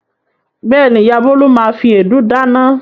Bẹ́ẹ̀ni, ìyá Bólú máa fi èédú dáná.